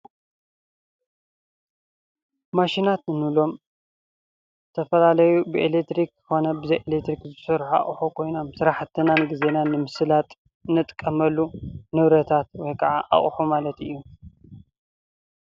ማሽናት እንብሎም ዝተፈላለዩ ብኤሌክትሪክ ኮነ ብዘይ ኤሌክትሪክ ዝስርሑ ኣቑሑ ኮይኖም ስራሕትናን ግዜናን ንምስላጥ ንጥቀመሉ ንብረታት ወይ ከዓ ኣቑሑ ማለት እዩ።